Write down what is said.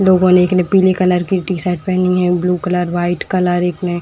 लोगों ने एक ने पीले कलर की टी-शर्ट पहनी है ब्लू कलर व्हाइट कलर एक ने --